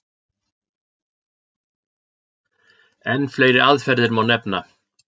Enn fleiri aðferðir má nefna.